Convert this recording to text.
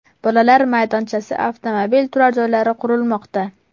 Bolalar maydonchasi, avtomobil turar joylari qurilmoqda.